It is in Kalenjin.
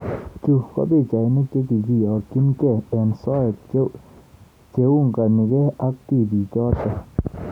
Chuu ko pichainik chekiyokchingei eng soet cheunganigei ak tipik choto